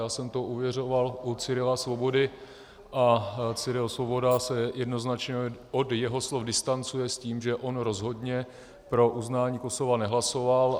Já jsem to ověřoval u Cyrila Svobody a Cyril Svoboda se jednoznačně od jeho slov distancuje s tím, že on rozhodně pro uznání Kosova nehlasoval.